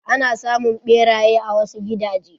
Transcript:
Ana samun ɓeraye a wasu gidaje.